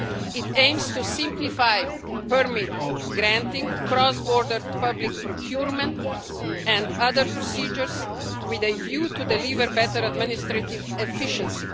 It aims to simplify permit granting, cross border public procurement and other procedures, with a view to delivering better administrative efficiency.